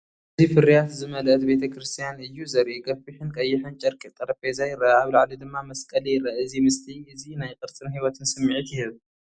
እዚ ፍርያት ዝመልአት ቤተ ክርስቲያን እዩ ዘርኢ። ገፊሕን ቀይሕን ጨርቂ ጠረጴዛ ይርአ፣ ኣብ ላዕሊ ድማ መስቀል ይርአ። እዚ ምስሊ እዚ ናይ ቅርጽን ህይወትን ስምዒት ይህብ።